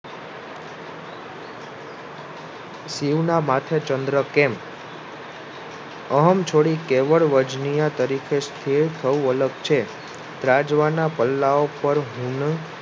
શિવના માથે ચંદ્ર કેમ અહમ છોડી કેવળ વજનીય તરીકે સ્થિર થવું અલગ છે. રાજવાના પલ્લાઓ પર હુમ